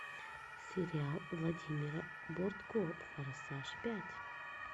сериал владимира бортко форсаж пять